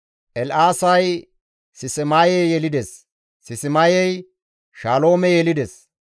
El7aasay Sismaye yelides; Sismayey Shaloome yelides;